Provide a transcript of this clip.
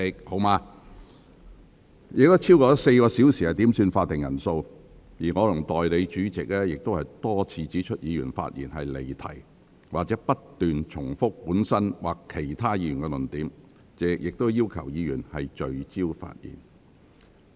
本會共花了超過4小時點算會議法定人數，而我和代理主席亦多次指出議員發言離題或不斷重複本身或其他議員的論點，並要求議員聚焦發言。